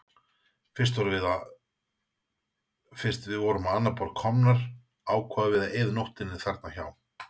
Fyrst við vorum á annað borð komnar ákváðum við að eyða nóttinni þarna hjá